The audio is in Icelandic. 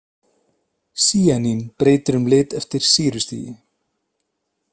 Sýanín breytir um lit eftir sýrustigi.